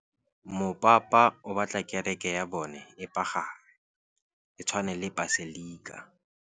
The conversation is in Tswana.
Mopapa o batla kereke ya bone e pagame, e tshwane le paselika.